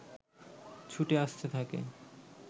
ছুটে আসতে থাকে